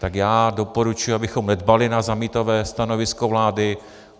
Tak já doporučuji, abychom nedbali na zamítavé stanovisko vlády.